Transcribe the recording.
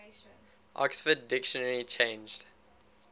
oxford dictionary changed